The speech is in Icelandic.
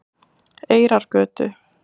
Eyrargötu